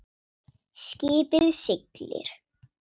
Skipið siglir.